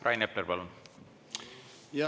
Rain Epler, palun!